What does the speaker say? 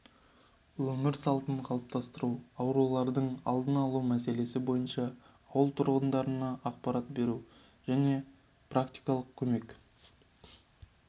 өмір салтын қалыптастыру аурулардың алдын алу мәселесі бойынша ауыл тұрғындарына ақпарат беру және практикалық көмек